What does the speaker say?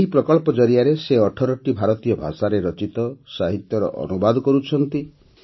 ଏହି ପ୍ରକଳ୍ପ ଜରିଆରେ ସେ ୧୮ଟି ଭାରତୀୟ ଭାଷାରେ ରଚିତ ସାହିତ୍ୟର ଅନୁବାଦ କରୁଛନ୍ତି